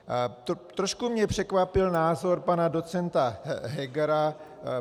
Trošku mě překvapil názor pana docenta Hegera.